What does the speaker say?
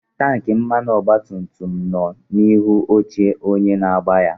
Tanki mmanụ ọgba tum tum nọ n'ihu oche onye na-agba ya.